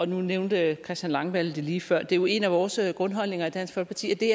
nu nævnte christian langballe det lige før det er jo en af vores grundholdninger i dansk folkeparti at det